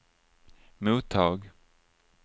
mottag